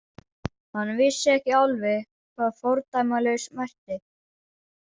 Hann vissi ekki alveg hvað fordæmalaus merkti.